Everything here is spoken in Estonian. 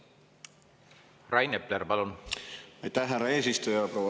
Aitäh, härra eesistuja!